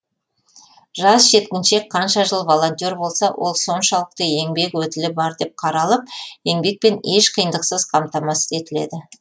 жас жеткіншек қанша жыл волонтер болса ол соншалықты еңбек өтілі бар деп қаралып еңбекпен еш қиындықсыз қамтамасыз етіледі